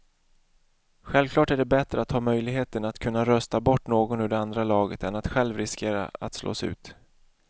Självklart är det bättre att ha möjligheten att kunna rösta bort någon ur det andra laget än att själv riskera att slås ut.